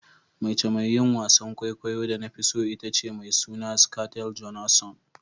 Mace mai yin wasan kwaikwayo da na fi so ita ce mai suna "Scarlet Johansson."